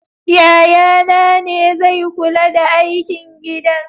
Yayana ne zai kula da aikin gidan.